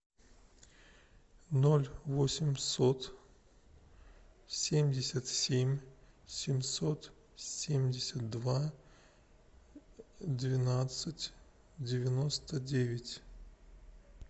ноль восемьсот семьдесят семь семьсот семьдесят два двенадцать девяносто девять